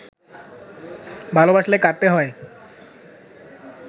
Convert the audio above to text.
ভালোবাসলে কাঁদতে হয়